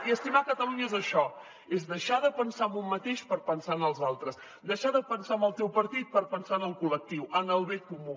i estimar catalunya és això és deixar de pensar en un mateix per pensar en els altres deixar de pensar en el teu partit per pensar en el col·lectiu en el bé comú